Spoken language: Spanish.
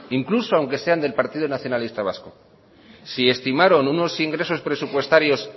incluso aunque sean del partido nacionalista vasco si estimaron unos ingresos presupuestarios